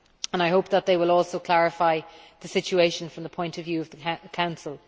I hope they will also clarify the situation from the point of view of the Council.